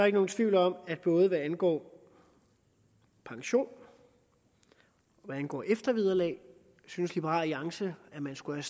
ikke nogen tvivl om at både hvad angår pension og hvad angår eftervederlag synes liberal alliance at man skulle